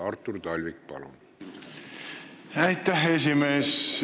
Artur Talvik, palun!